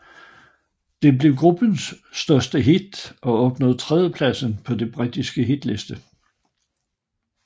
Det blev gruppens største hit og nåede tredjepladsen på den britiske hitliste